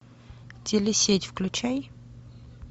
телесеть включай